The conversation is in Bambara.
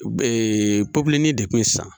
popilenni de kun sisan